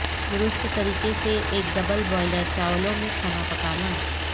درست طریقے سے ایک ڈبل بوائلر چاولوں میں کھانا پکانا